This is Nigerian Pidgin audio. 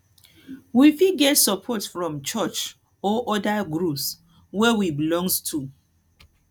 we fit get support from church or oda groups wey we belong to